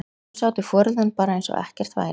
Svo sátu foreldrarnir bara eins og ekkert væri.